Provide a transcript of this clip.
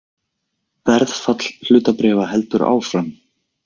Verðfall hlutabréfa heldur áfram